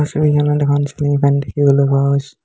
ছবিখনত এখন ceiling fan দেখিবলৈ পোৱা গৈছে।